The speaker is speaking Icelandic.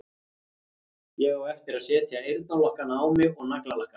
Ég á eftir að setja eyrnalokkana á mig og naglalakka mig.